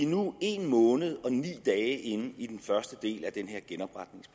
nu en måned og ni dage inde i den første del af